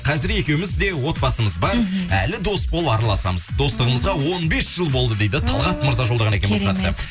қазір екеуміз де отбасымыз бар іхі әлі дос болып араласамыз достығымызға он бес жыл болды дейді талғат мырза жолдаған екен бұл хатты